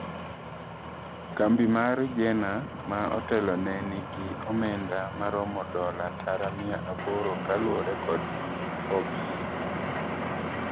Kambi mar Jenner ma otelone ni gi omenda maromo dola tara mia aboro ka luore kod Forbes